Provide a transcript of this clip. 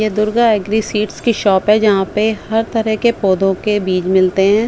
ये Durga agri seeds की shop है जहां पे हर तरह के पौधों के बीज मिलते हैं।